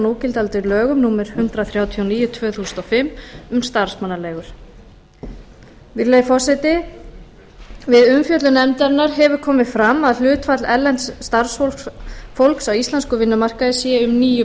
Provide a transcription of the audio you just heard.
núgildandi lögum númer hundrað þrjátíu og níu tvö þúsund og fimm um starfsmannaleigur við umfjöllun nefndarinnar hefur komið fram að hlutfall erlends starfsfólks á íslenskum vinnumarkaði sé um níu